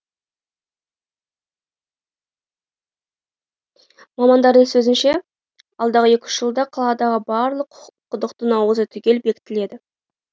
мамандардың сөзінше алдағы екі үш жылда қаладағы барлық құдықтың ауызы түгел бекітіледі